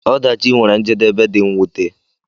Ọdachi nwere njedebe dị mwute.